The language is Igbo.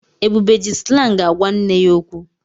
Ebube ji slangị ágwá nne ya okwu.